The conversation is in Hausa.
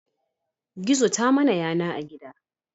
Gizo ta mana yana a gida